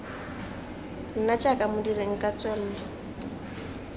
nna jaaka modiri nka tswelwa